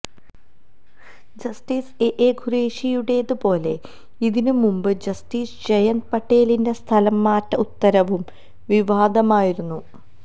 justice A ഖുറേഷിയുടേത് പോലെ ഇതിന് മുമ്പ് ജസ്റ്റിസ് ജയന്ത് പട്ടേലിന്റെ സ്ഥലം മാറ്റ ഉത്തരവും വിവാദമായിരുന്നു